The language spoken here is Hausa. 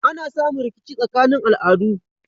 Ana samun rikici tsakanin al'adu